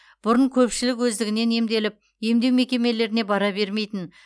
бұрын көпшілік өздігінен емделіп емдеу мекемелеріне бара бермейтін